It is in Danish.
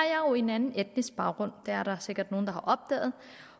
jo en anden etnisk baggrund det er der sikkert nogle der har opdaget